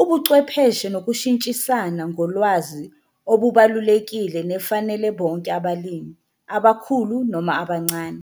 ubucwepheshe nokushintshisana ngolwazi obubalulekile nefanele bonke abalimi, abakhulu noma abancane.